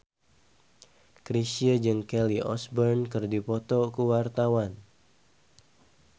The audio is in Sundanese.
Chrisye jeung Kelly Osbourne keur dipoto ku wartawan